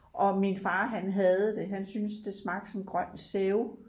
Og min far han hadede det han synes det smagte som grøn sæbe